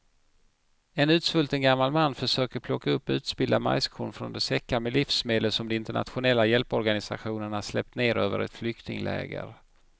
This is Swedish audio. En utsvulten gammal man försöker plocka upp utspillda majskorn från de säckar med livsmedel som de internationella hjälporganisationerna släppt ner över ett flyktingläger.